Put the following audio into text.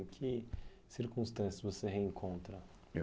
Em que circunstâncias você reencontra? Eu